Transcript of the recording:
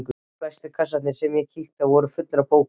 Flestir kassarnir sem ég kíkti í voru fullir af bókum.